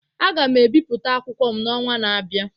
Aga m ebipụta akwụkwọ m n'ọnwa na-abịa